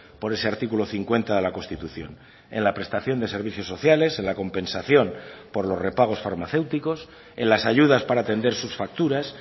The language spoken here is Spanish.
por ese artículo cincuenta de la constitución en la prestación de servicios sociales en la compensación por los repagos farmacéuticos en las ayudas para atender sus facturas